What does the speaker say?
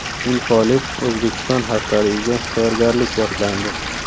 Infolib Uzbekistan haftaligiga tayyorgarlik boshlandi.